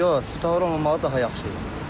Svetofor olmamağı daha yaxşı idi.